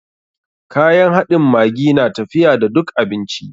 Kayan haɗin maggi na tafiya da duk abinci.